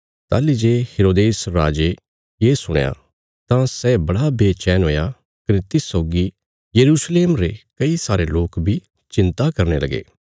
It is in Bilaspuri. ताहली जे हेरोदेस राजे ये सुणया तां सै बड़ा बेचैन हुया कने तिस सौगी यरूशलेम रे कई सारे लोक बी चिन्ता करने लगे